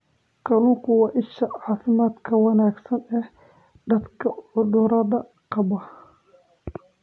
Kalluunku waa isha caafimaadka wanaagsan ee dadka cudurrada qaba.